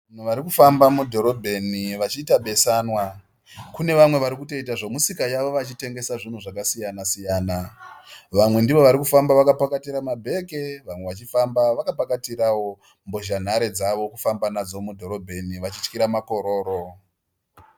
Vanhu varikufamba mudhorobheni vachiita beswanwa. Kunevamwe varikutoita zvemusika yavo vachitengesa zvinhu zvasiyana siyana. Vamwe ndovari kufamba vakapakatira mabhegi, vamwe vachifamba vakapakatirawo mbozhanhare dzavo kufamba nadzo mudhorobheni vachityira makororo.